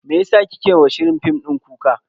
Meyasa kike wa shirin fim din kuka?